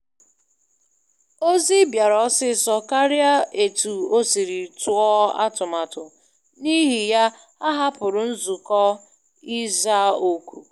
Ozi bịara ọsịsọ karịa etu e siri tụọ atụmatụ, n'ihi ya ahapụrụ nzukọ ịza oku.